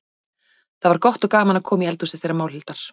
Það var gott og gaman að koma í eldhúsið þeirra Málhildar.